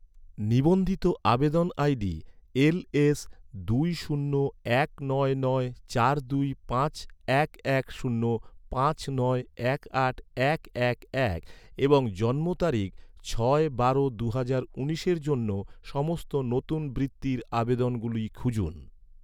নিবন্ধিত আবেদন ID L S দুই শূন্য এক নয় নয় চার দুই পাঁচ এক এক শূন্য পাঁচ নয় এক আট এক এক এক এবং জন্ম তারিখ ছয় বারো দুহাজার উনিশের জন্য, সমস্ত নতুন বৃত্তির আবেদনগুলো খুঁজুন